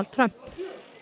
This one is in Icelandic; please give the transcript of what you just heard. Trump